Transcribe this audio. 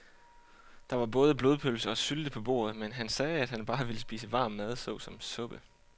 Der var både blodpølse og sylte på bordet, men han sagde, at han bare ville spise varm mad såsom suppe.